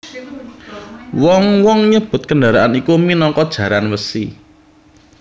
Wong wong nyebut kendharaan iku minangka jaran wesi